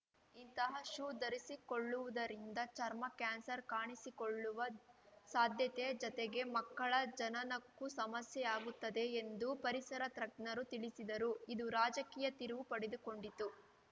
ಇಂತಹ ಶೂ ಧರಿಸಿಕೊಳ್ಳುವುದರಿಂದ ಚರ್ಮ ಕ್ಯಾನ್ಸರ್‌ ಕಾಣಿಸಿಕೊಳ್ಳುವ ಸಾಧ್ಯತೆ ಜತೆಗೆ ಮಕ್ಕಳ ಜನನಕ್ಕೂ ಸಮಸ್ಯೆಯಾಗುತ್ತದೆ ಎಂದು ಪರಿಸರ ತ್ರಜ್ಞರು ತಿಳಿಸಿದರು ಇದು ರಾಜಕೀಯ ತಿರುವು ಪಡೆದುಕೊಂಡಿತು